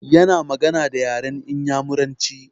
Ya na magana da yaran Inyamuranci